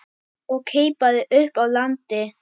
og keipaði upp að landi.